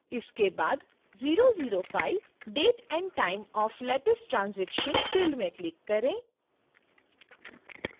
इसके बाद 005 date and time of latest transaction field में click करें